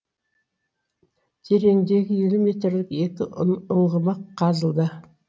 тереңдігі елу метрлік екі ұңғыма қазылды